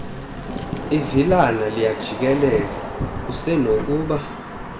ivilana liyajikeleza usenokuba